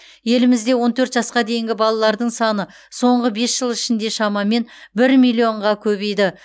елімізде он төрт жасқа дейінгі балалардың саны соңғы бес жыл ішінде шамамен бір миллионға көбейді